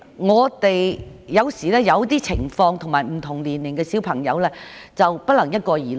我們要因應不同情況及不同年齡的學生作出決定，不能一概而論。